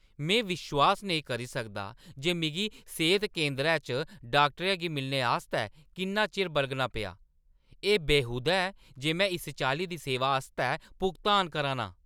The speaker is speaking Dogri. में विश्वास नेईं करी सकदा जे मिगी सेह्त केंदरै च डाक्टरै गी मिलने आस्तै किन्ना चिर बलगना पेआ! एह् बेहूदा ऐ जे में इस चाल्ली दी सेवा आस्तै भुगतान करा ना आं।"